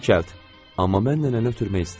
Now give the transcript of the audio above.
Amma mən nənəni ötürmək istəyirdim.